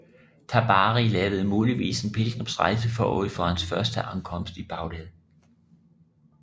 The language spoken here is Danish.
Tabari lavede muligvis en pilgrimsrejse forud for hans første ankomst i Bagdad